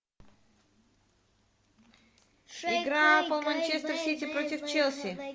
игра апл манчестер сити против челси